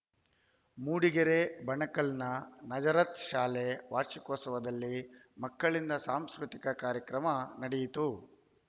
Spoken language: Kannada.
ಮೂಡಿಗೆರೆ ಬಣಕಲ್‌ನ ನಜರತ್‌ ಶಾಲೆ ವಾರ್ಷಿಕೋತ್ಸವದಲ್ಲಿ ಮಕ್ಕಳಿಂದ ಸಾಂಸ್ಕೃತಿಕ ಕಾರ್ಯಕ್ರಮ ನಡೆಯಿತು